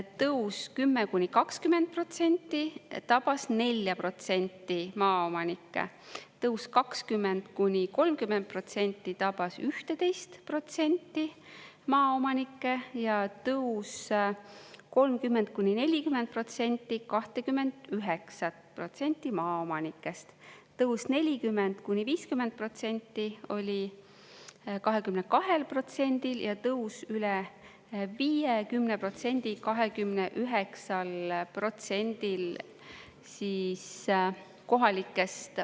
Tõus 10–20% tabas 4% maaomanikke, tõus 20–30% tabas 11% maaomanikke, tõus 30–40% 29% maaomanikest, tõus 40–50% oli 22%-l ja tõus üle 50% 29%-l kohalikest …